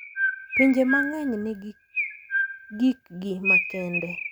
Pinje mang'eny nigi gikgi makende,